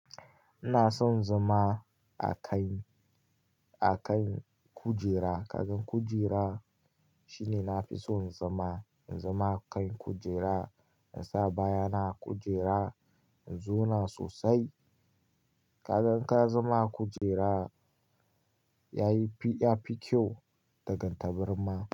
Ina son zama a kai, a kai kujera. Kaga kujera shine na fi so in zama, in zama a kai kujera. In sa baya na a kujera, in zauna sosai. Kaga ka zama a kujera yayi fi kyau da kan tabarma.